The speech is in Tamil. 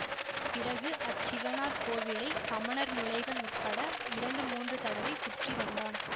பிறகு அச்சிவனார் கோவிலை சமணர் முழைகள் உட்பட இரண்டு மூன்று தடவை சுற்றி வந்தான்